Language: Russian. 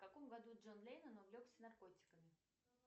в каком году джон леннон увлекся наркотиками